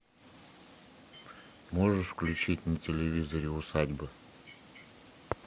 можешь включить на телевизоре усадьба